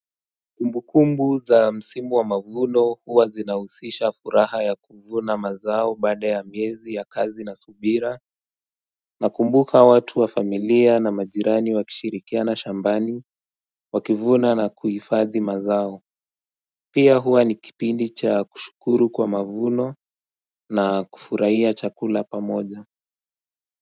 Ukumbu za msimu wa mavuno huwa zinausisha furaha ya kuvuna mazao baada ya miezi ya kazi na subira Nakumbuka watu wa familia na majirani wakishirikiana shambani wakivuna na kuhifadhi mazao Pia huwa ni kipindi cha kushukuru kwa mavuno na kufurahia chakula pamoja.